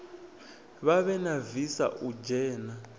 vhavhe na visa u dzhena